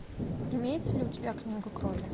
имеется ли у тебя книга крови